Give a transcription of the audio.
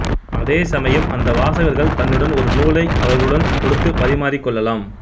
அதே சமயம் அந்த வாசகர்கள் தன்னுடன் ஒரு நூலை அவர்களுடன் கொடுத்து பரிமாறிக் கொள்ளலாம்